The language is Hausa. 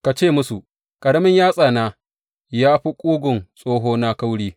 Ka ce musu, Ƙaramin yatsana ya fi ƙugun tsohona kauri.